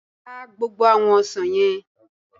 Ká gbogbo àwọn ọsàn yẹn!